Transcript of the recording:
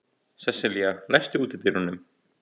Sesselía, læstu útidyrunum.